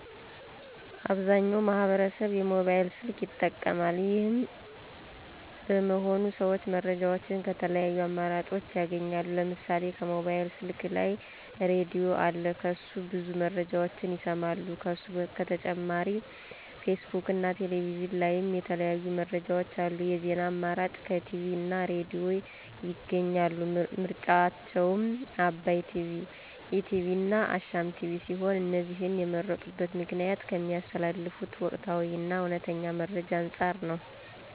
አብዛኛው ማህበረሰብ የሞባይል ስልክ ይጠቀማል። ይሄም በመሆኑ ሰዎች መረጃዎችን ከተለያዩ አማራጭኦች ያገኛሉ። ለምሳሌ ከሞባይል ስልክ ላይ ራድዬ አለ ከሱ ብዙ መረጃዎችን ይሰማሉ። ከሱ በተጨማሪ ፌስቡክ እና ቴሌቪዥን ላይም የተለያዩ መረጃዎች አሉ። የዜና አማራጭ ከቲቪ እና ራድዬ ያገኛሉ። ምርጫቸውም አባይ ቲቪ፣ ኢቲቪ እና አሻም ቲቪ ሲሆን እነዚህንም የመረጡበት ምክንያት ከሚያስተላልፉት ወቅታዊ እና እውነተኛ መረጃ አንፃር ነው።